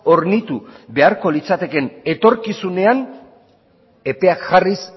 hornitu beharko litzatekeen etorkizunean epeak jarriz